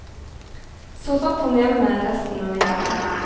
Så satt han hjemme resten av vinteren.